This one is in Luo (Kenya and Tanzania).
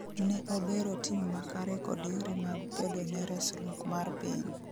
ne obero tim makare kod yore mag kedone resruok mar piny